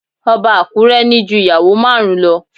Ọba Akure ní ju ìyàwó márùn-ún lo